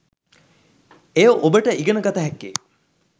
එය ඔබට ඉගෙන ගත හැක්කේ